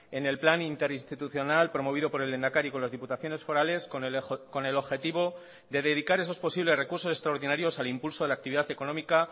en el plan interinstitucional promovido por el lehendakari con las diputaciones forales con el objetivo de dedicar esos posibles recursos extraordinarios al impulso de la actividad económica